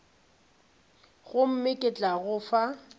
gomme ke tla go fa